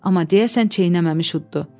Amma deyəsən çeynəməmiş uddu.